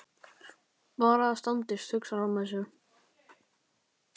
Bara það standist, hugsar hann með sér.